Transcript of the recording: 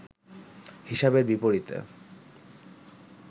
হিসাবের বিপরীতে